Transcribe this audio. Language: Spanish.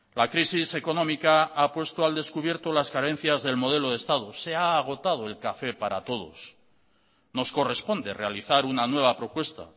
la crisis económica ha puesto al descubierto las carencias del modelo de estado se ha agotado el café para todos nos corresponde realizar una nueva propuesta